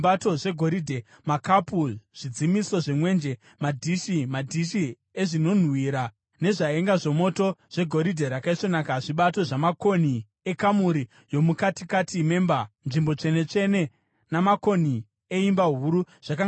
makapu, zvidzimiso zvemwenje, madhishi, madhishi ezvinonhuhwira nezvaenga zvomoto, zvegoridhe rakaisvonaka; zvibato zvamakonhi ekamuri yomukatikati memba, Nzvimbo Tsvene-tsvene, namakonhi eimba huru, zvakanga zviri zvegoridhe.